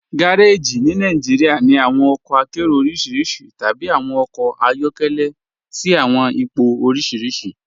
Gàrèjí ní Nàìjíríà ní awọn ọkọ àkéró orísíríṣí tàbí awọn ọkọ ayọkẹlẹ̀ sí awọn ìpọ̀ orísíríṣí.